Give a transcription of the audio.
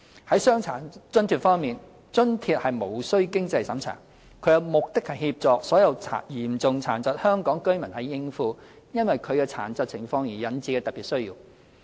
在傷殘津貼方面，津貼無須經濟審查，其目的是協助所有嚴重殘疾的香港居民應付因其殘疾情況而引致的特別需要。